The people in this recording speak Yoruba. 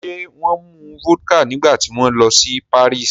Ṣé wọ́n mu vodka nígbà tí wọ́n lọ sí Paris?